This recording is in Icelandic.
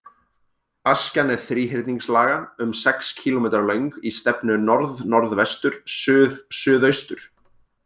Askjan er þríhyrningslaga, um sex kílómetra löng í stefnu norðnorðvestur-suðsuðaustur.